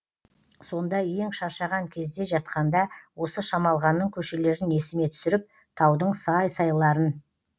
сонда ең шаршаған кезде жатқанда осы шамалғанның көшелерін есіме түсіріп таудың сай сайларын